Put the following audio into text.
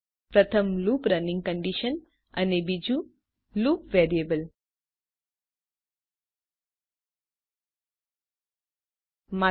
પ્રથમ loop running condition છે અને બીજું લુપ વેરિયેબલ છે